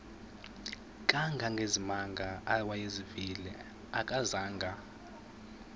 kangangezimanga awayezivile akazanga